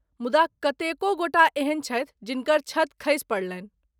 मुदा कतेको गोटा एहन छथि जिनकर छत खसि पड़लनि।